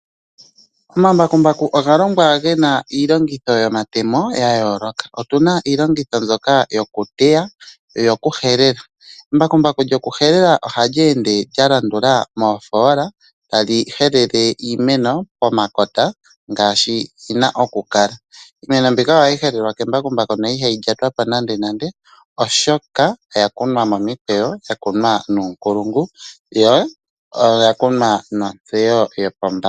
Omambakumbaku oga longwa ge na iilongitho yomatemo ya yooloka. Otu na iilongitho mbyoka yokuteya noyokuhelela. Embakumbaku lyokuhelela ohali ende lya landula moofoola tali helele iimeno pomakota ngaashi yi na okukala. Iimeno mbika ohayi helelwa kembakumbaku no ihayi lyatwa po nandenande, oshoka oya kunwa momikweyo, ya kunwa nuunkulungu yo oya kunwa nontseyo yopombanda.